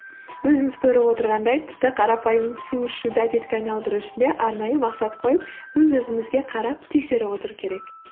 өзіміз көріп отырғандай тіпті қарапайым су ішуді әдетке айналдыру үшін де арнайы мақсат қойып өз өзімізге қарап тексеріп отыру керек